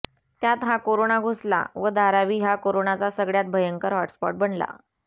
त्यात हा कोरोना घुसला व धारावी हा कोरोनाचा सगळय़ात भयंकर हॉटस्पॉट बनला